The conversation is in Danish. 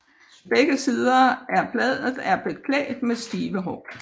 Begge sider af bladet er beklædt med stive hår